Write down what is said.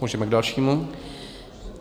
Můžeme k dalšímu.